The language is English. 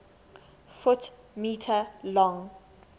ft m long